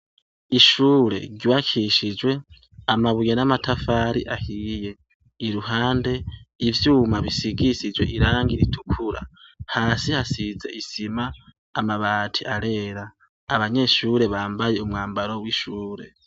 Ishure ryubakishijwe amabuye n'amatafari ahiye; iruhande ivyuma bisigisijwe irangi ritukura; hasi hasize isima , amabati arera. Abanyeshure bambaye umwambaro w'ishure.